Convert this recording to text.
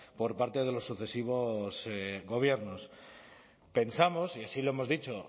por parte de los sucesivos gobiernos pensamos y así lo hemos dicho